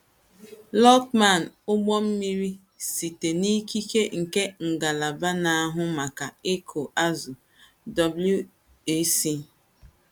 Lochman; ụgbọ mmiri: Site n’ikike nke Ngalaba Na - ahụ Maka Ịkụ Azụ̀ WA, C.